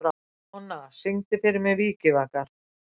Mona, syngdu fyrir mig „Vikivakar“.